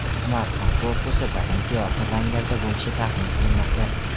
Smartfon korpusi bir necha yorqin ranglarda bo‘lishi taxmin qilinmoqda.